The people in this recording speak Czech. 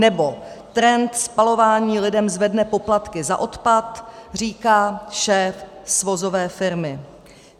Nebo: Trend spalování lidem zvedne poplatky za odpad, říká šéf svozové firmy.